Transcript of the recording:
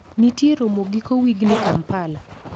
Ntie romo giko wigni kampala?